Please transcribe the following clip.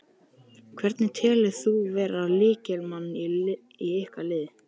Hvern telur þú vera lykilmann í ykkar liði?